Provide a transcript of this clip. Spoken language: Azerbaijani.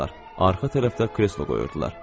Arxa tərəfdə kreslo qoyurdular.